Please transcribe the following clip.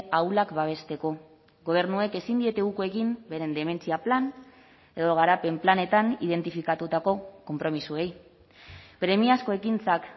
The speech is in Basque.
ahulak babesteko gobernuek ezin diete uko egin beren dementzia plan edo garapen planetan identifikatutako konpromisoei premiazko ekintzak